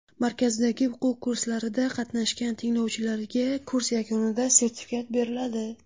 Markazdagi o‘quv kurslarida qatnashgan tinglovchilarga kurs yakunida sertifikat beriladi.